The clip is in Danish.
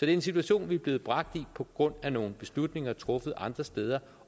er en situation vi er blevet bragt i på grund af nogle beslutninger truffet andre steder